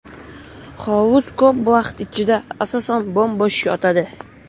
Hovuz ko‘p vaqt ichida, asosan, bo‘m-bo‘sh yotadi.